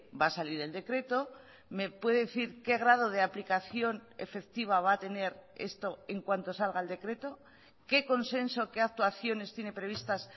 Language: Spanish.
va a salir el decreto me puede decir qué grado de aplicación efectiva va a tener esto en cuanto salga el decreto qué consenso qué actuaciones tiene previstas